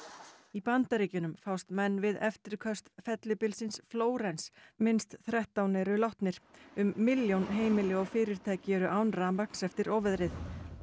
í Bandaríkjunum fást menn við eftirköst fellibylsins Flórens minnst þrettán eru látnir um milljón heimili og fyrirtæki eru án rafmagns eftir óveðrið